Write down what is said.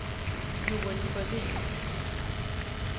Joel Sjödin